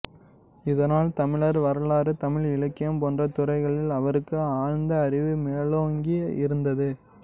இதனால் தமிழர் வரலாறு தமிழ் இலக்கியம் போன்ற துறைகளில் அவருக்கு ஆழ்ந்த அறிவு மேலோங்கி இருந்தது